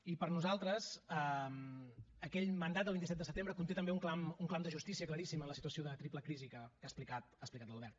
i per nosaltres aquell mandat del vint set de setembre conté també un clam un clam de justícia claríssim en la situació de triple crisi que ha explicat l’albert